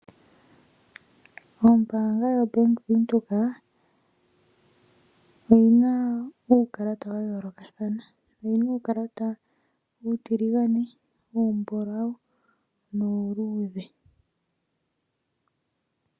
Ombaanga yoBank Windhoek, oyina uukalata wayoolokathana. Oyina uukalata uutiligane, uumbulawu, nuuluudhe.